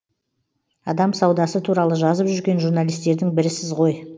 адам саудасы туралы жазып жүрген журналистердің бірісіз ғой